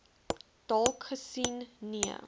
dalk gesien nee